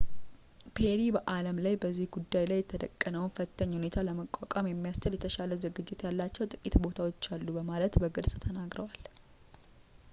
ፔሪ በአለም ላይ በዚህ ጉዳይ ላይ የተደቀነውን ፈታኝ ሁኔታ ለመቋቋም የሚያስችል የተሻለ ዝግጅት ያላቸው ጥቂት ቦታዎች አሉ በማለት በግልጽ ተናግረዋል